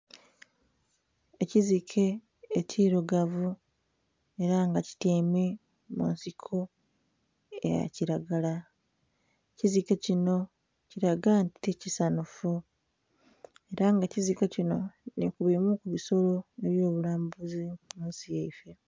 Ekizike ekirugavu era nga kityaime munsiko eya kilagala, ekizike kinho kilaga nti ti kisanhufu era nga ekizike kinho nhi ku bimu ku bisolo ebyo bulambuzi mu nsi yaife.